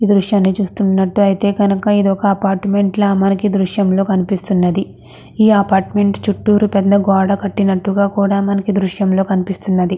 దృశ్యాన్ని చూస్తున్నట్టు అయితే కనుక ఇది ఒక అపార్ట్మెంట్ల మనకి దృశ్యంలో కనిపిస్తున్నది. ఈ అపార్ట్మెంట్ చుట్టూరు పెద్ద గోడ కట్టినట్టుగా కూడా మనకు దృశ్యంలో కనిపిస్తున్నది.